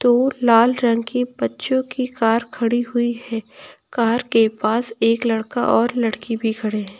और लाल रंग की बच्चों की कार खड़ी हुई है कार के पास एक लड़का और लड़की भी खड़े हैं।